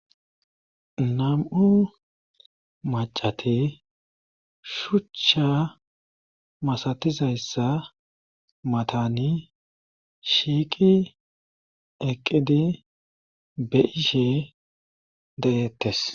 nam7u macate shuchcha masatizayssa matani shiiqi eqqidi be'ishe de'eettes